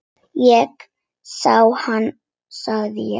Ég sá hana, segi ég.